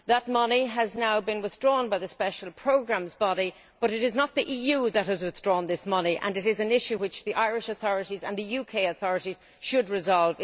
That money has now been withdrawn by the Special EU Programmes Body, but it is not the EU itself that has withdrawn this money and it is an issue which the Irish authorities and the UK authorities should resolve.